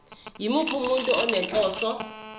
yimuphi umuntu onenhloso